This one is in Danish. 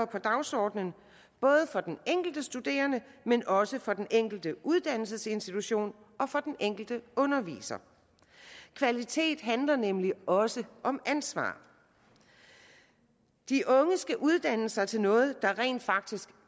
på dagsordenen både for den enkelte studerende men også for den enkelte uddannelsesinstitution og for den enkelte underviser kvalitet handler nemlig også om ansvar de unge skal uddanne sig til noget der rent faktisk